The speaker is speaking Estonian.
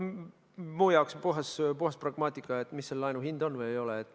Minu jaoks on see puhas pragmaatika, mis selle laenu hind on või ei ole.